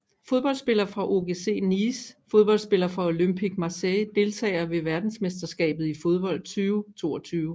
Fodboldspillere fra OGC Nice Fodboldspillere fra Olympique Marseille Deltagere ved verdensmesterskabet i fodbold 2022